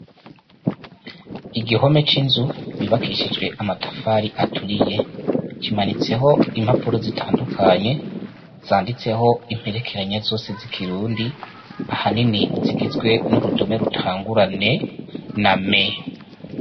Igihome c' inzu yubakishijwe amatafari aturiye kimanitseho impapuro zitandukanye zanditseho imperekeranya zose z' ikirundi ahanini zigizwe n' urudome gutangura N na M.